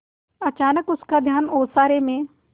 अचानक उसका ध्यान ओसारे में